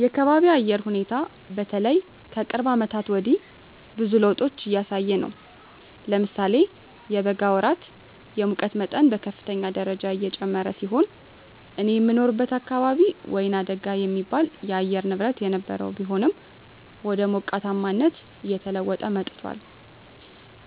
የአካቢየ የአየር ሁኔታ በተለይ ከቅርብ አመታት ወዲህ ብዙ ለዉጦች እያሳየ ነው። ለምሳሌ የበጋ ወራት የሙቀት መጠን በከፍተኛ ደረጃ የጨመረ ሲሆን እኔ የምኖርበት አካባቢ ወይናደጋ የሚባል የአየር ንብረት የነበረው ቢሆንም ወደ ሞቃታማነት እየተለወጠ መጥቶአል።